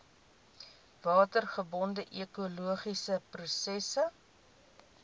watergebonde ekologiese prosesse